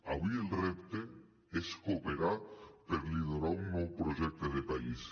avui el repte és cooperar per liderar un nou projecte de país